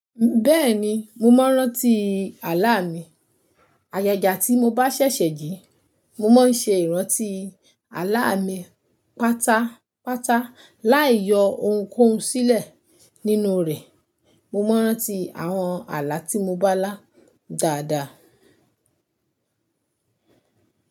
Bẹ́ẹ̀ni, mo ma n rántí ààlà mi. Ayẹda tí mo bá sẹ̀sẹ̀ jí, mo máa ń ṣe ìrántí ààlà mi pátápátá láì yọ ohunkóhun sílẹ̀ nínú rẹ̀. Mo máa ń rántí àwọn ààlà tí mo bá lá dáadáa.